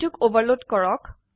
এইটোক ওভাৰলোড কৰক